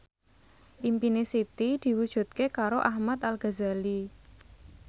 impine Siti diwujudke karo Ahmad Al Ghazali